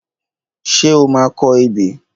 Ṣé o máa kọ ebè?